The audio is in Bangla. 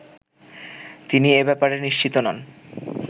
তিনি এ ব্যাপারে নিশ্চিত নন